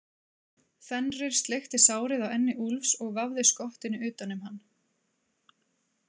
Fenrir sleikti sárið á enni Úlfs og vafði skottinu utan um hann.